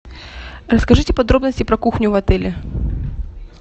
расскажите подробности про кухню в отеле